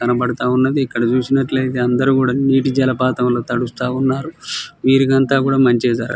కనబడుతా వున్నది ఇక్క్కడ చూసినట్లైతే అందరు కూడా నిటి జేలపథం లో తడుస్తా వున్నారు విల్లు అంతా కూడా మంచిగ --